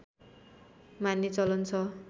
मान्ने चलन छ